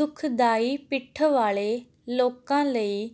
ਦੁਖਦਾਈ ਪਿੱਠ ਵਾਲੇ ਲੋਕਾਂ ਲਈ